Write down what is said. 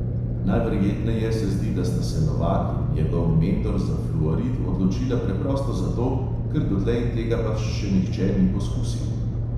Najverjetneje se zdi, da sta se novak in njegov mentor za fluorid odločila preprosto zato, ker dotlej tega pač še nihče ni poskusil.